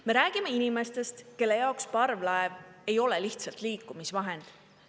Me räägime inimestest, kelle jaoks parvlaev ei ole lihtsalt liikumisvahend.